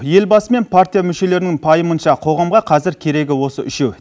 елбасы мен партия мүшелерінің пайымынша қоғамға қазір керегі осы үшеу